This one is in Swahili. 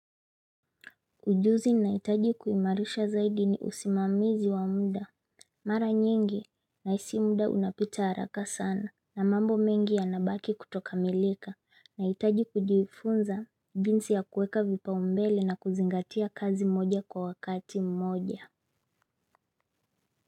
Ujuzi nahitaji kuimarisha zaidi ni usimamizi wa mda. Mara nyingi nahisi mda unapita haraka sana na mambo mengi yanabaki kutokamilika nahitaji kujifunza jinsi ya kuweka vipaumbele na kuzingatia kazi mmoja kwa wakati mmoja.